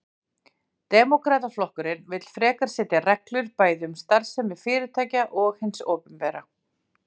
Demókrataflokkurinn vill frekar setja reglur, bæði um starfsemi fyrirtækja og hins opinbera.